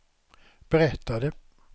berättade